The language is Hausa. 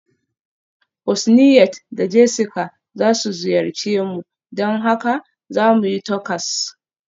Husniat da Jessica za su ziyarce mu, don haka za mu yi Tacos.